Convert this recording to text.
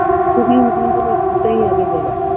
ছবি ওটাই আগে যাই